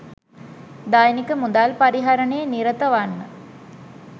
දෛනික මුදල් පරිහරණයේ නිරත වන්න